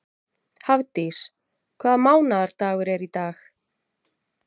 Hafdís, hvaða mánaðardagur er í dag?